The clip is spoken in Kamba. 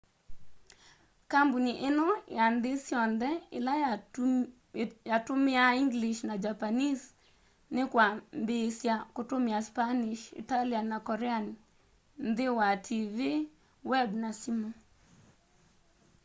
kambuni ino ya nthi syonthe ila yatumiaa english na japanese ni kwambiisya kutumia spanish italian na korean nthi wa tv web na simu